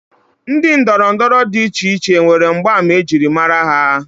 Ndị ndọrọndọrọ dị icheiche nwere mgbaàmà ejiri mara ha